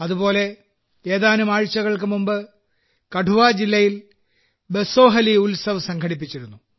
അതുപോലെ ഏതാനും ആഴ്ചകൾക്ക് മുമ്പ് കഠുആ ജില്ലയിൽ ബസോഹലി ഉത്സവ് സംഘടിപ്പിച്ചിരുന്നു